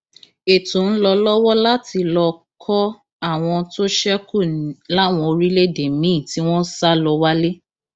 ètò ń lọ lọwọ láti lọọ kọ àwọn tó ṣekú láwọn orílẹèdè míín tí wọn sá lọ wálé